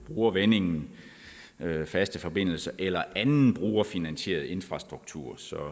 bruger vendingen faste forbindelser eller anden brugerfinansieret infrastruktur så er